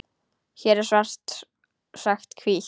Hér er svart sagt hvítt.